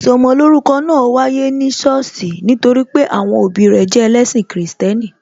Ìsọmolórúkọ náà wáyé ní sọ́ọ̀sì nítorí pé àwọn òbí rẹ jẹ ẹlẹ́ṣin Kristẹni